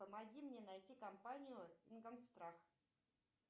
помоги мне найти компанию ингонстрах